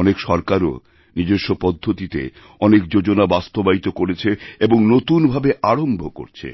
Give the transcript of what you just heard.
অনেক সরকারও নিজস্ব পদ্ধতিতে অনেক যোজনা বাস্তবায়িত করেছে এবং নতুন ভাবেআরম্ভ করছে